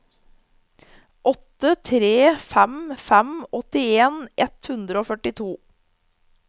åtte tre fem fem åttien ett hundre og førtito